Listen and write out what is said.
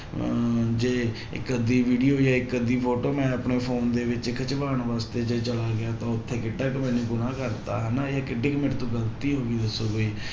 ਅਹ ਜੇ ਇੱਕ ਅੱਧੀ video ਜਾਂ ਇੱਕ ਅੱਧੀ photo ਮੈਂ ਆਪਣੇ phone ਦੇ ਵਿੱਚ ਖਿਚਵਾਉਣ ਵਾਸਤੇ ਤਾਂ ਉੱਥੇ ਕਿੱਡਾ ਕੁ ਮੈਨੇ ਗੁਨਾਂਹ ਕਰ ਦਿੱਤਾ ਹਨਾ ਇਹ ਕਿੱਡੀ ਕੁ ਮੇਰੇ ਤੋਂ ਗ਼ਲਤੀ ਹੋ ਗਈ ਦੱਸੋ ਵੀ